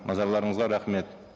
назарларыңызға рахмет